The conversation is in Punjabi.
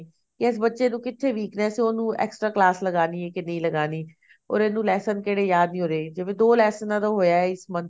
ਕੀ ਇਸ ਬੱਚੇ ਨੂੰ ਕਿੱਥੇ weakness ਐ ਉਹਨੂੰ extra class ਲਗਾਨੀ ਐ ਕੇ ਨਹੀਂ ਲਗਾਨੀ or ਇਹਨੂੰ lesson ਕਿਹੜੇ ਯਾਦ ਨੀ ਹੋ ਰਹੇ ਜਿਵੇਂ ਦੋ ਲੈਸਨਾ ਦਾ ਹੋਇਆ ਇਸ month